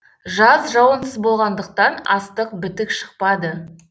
жаз жауынсыз болғандықтан астық бітік шықпады